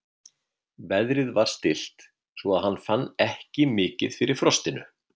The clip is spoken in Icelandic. Veðrið var stillt svo að hann fann ekki mikið fyrir frostinu.